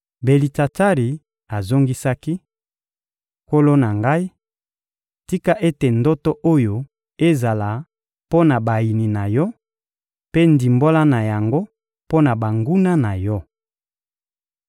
Belitsatsari azongisaki: — Nkolo na ngai, tika ete ndoto oyo ezala mpo na bayini na yo, mpe ndimbola na yango, mpo na banguna na yo!